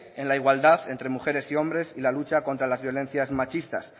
en la igualdad entre mujeres y hombres y la lucha contra las violencias machistas